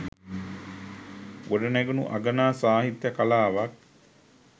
ගොඩ නැගුණු අගනා සාහිත්‍ය කලාවක්